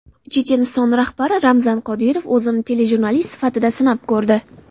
Checheniston rahbari Ramzan Qodirov o‘zini telejurnalist sifatida sinab ko‘rdi.